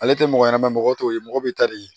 Ale tɛ mɔgɔ ɲɛnɛma mɔgɔ t'o ye mɔgɔ bɛ taa di